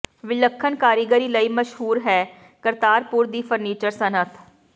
ਵਿਲੱਖਣ ਕਾਰੀਗਰੀ ਲਈ ਮਸ਼ਹੂਰ ਹੈ ਕਰਤਾਰਪੁਰ ਦੀ ਫਰਨੀਚਰ ਸਨਅਤ